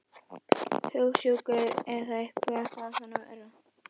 Hugsjúkur eða eitthvað þaðan af verra.